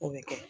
O bɛ kɛ